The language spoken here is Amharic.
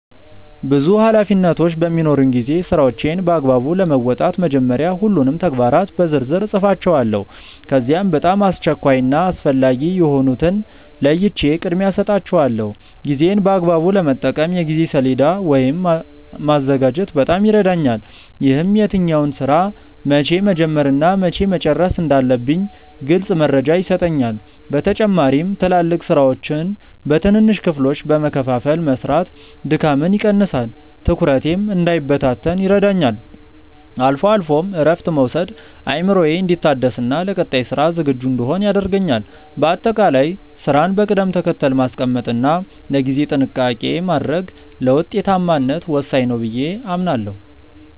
ብዙ ኃላፊነቶች በሚኖሩኝ ጊዜ ስራዎቼን በአግባቡ ለመወጣት መጀመሪያ ሁሉንም ተግባራት በዝርዝር እጽፋቸዋለሁ። ከዚያም በጣም አስቸኳይ እና አስፈላጊ የሆኑትን ለይቼ ቅድሚያ እሰጣቸዋለሁ። ጊዜዬን በአግባቡ ለመጠቀም የጊዜ ሰሌዳ ወይም ማዘጋጀት በጣም ይረዳኛል። ይህም የትኛውን ስራ መቼ መጀመር እና መቼ መጨረስ እንዳለብኝ ግልጽ መረጃ ይሰጠኛል። በተጨማሪም ትላልቅ ስራዎችን በትንንሽ ክፍሎች በመከፋፈል መስራት ድካምን ይቀንሳል፤ ትኩረቴም እንዳይበታተን ይረዳኛል። አልፎ አልፎም እረፍት መውሰድ አእምሮዬ እንዲታደስና ለቀጣይ ስራ ዝግጁ እንድሆን ያደርገኛል። በአጠቃላይ ስራን በቅደም ተከተል ማስቀመጥ እና ለጊዜ ጥንቃቄ ማድረግ ለውጤታማነት ወሳኝ ነው ብዬ አምናለሁ።